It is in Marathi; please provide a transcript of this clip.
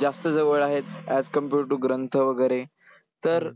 जास्त जवळ आहेत, as compared to ग्रंथ वगैरे. तर